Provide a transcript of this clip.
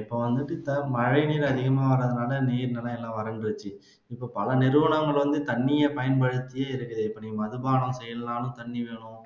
இப்ப வந்துட்டு இப்போ மழை நீர் அதிகமா வராததுனால நீர் நிலை எல்லாம் வறண்டுருச்சு இப்போ பல நிறுவனங்கள் வந்து தண்ணிய பயன்படுத்தியே இருக்லுது இப்ப மதுபானம் செய்யணும்னாலும் தண்ணி வேணும்